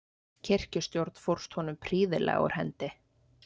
Kirkjustjórn fórst honum prýðilega úr hendi.